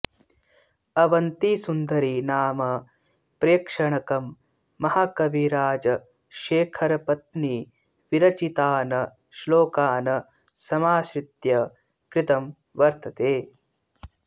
अवन्तिसुन्दरी नाम प्रेक्षणकं महाकविराजशेखरपत्नीविरचितान् श्लोकान् समाश्रित्य कृतं वर्तते